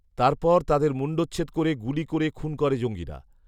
তার পর তাদের মুণ্ডছেদ করে গুলি করে খুন করে জঙ্গিরা